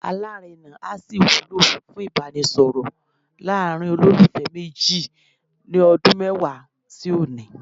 Alárèna á sì wúlò fún Ìbánisọ̀rọ̀ láàrin olólùfẹ́ méjì ní ọdún mẹ́wàá sí òní.